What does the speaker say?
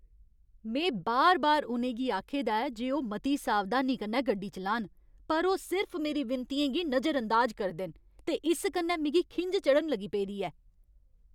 में बार बार उ'नेंगी आखे दा ऐ जे ओह् मती सावधानी कन्नै गड्डी चलान, पर ओह् सिर्फ मेरी विनतियें गी नजरअंदाज करदे न, ते इस कन्नै मिगी खिंझ चढ़न लगी पेदी ऐ।